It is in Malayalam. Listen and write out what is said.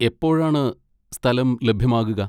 എപ്പോഴാണ് സ്ഥലം ലഭ്യമാകുക?